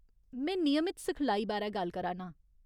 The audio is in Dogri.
में नियमत सिखलाई बारै गल्ल करा नां।